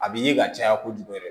A bi ye ka caya kojugu yɛrɛ